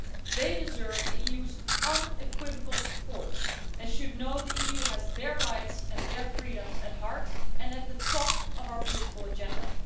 They deserve the EU's unequivocal support and should know that the EU has their rights and their freedoms at heart, and at the top of our political agenda.